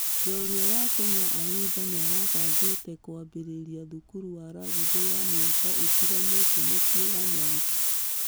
Njorua ya kenya ayimba nĩirabangĩte kũambĩrĩria thukuru wa rugby wa mĩaka ĩtiganĩte mũciĩ wa nyanza.